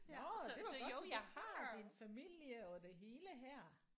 Nåh det var godt så du har din familie og det hele her